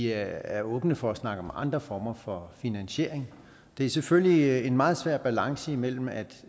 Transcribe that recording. er åbne for at snakke om andre former for finansiering det er selvfølgelig en meget svær balance mellem at